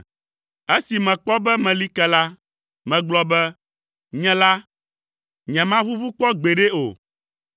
Esi mekpɔ be meli ke la, megblɔ be, “Nye la, nyemaʋuʋu kpɔ gbeɖe o.”